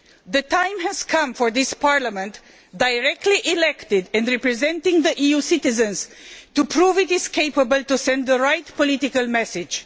The time has come for this Parliament, directly elected and representing the EU's citizens, to prove it is capable of sending the right political message.